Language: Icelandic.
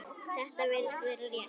Þetta virðist vera rétt.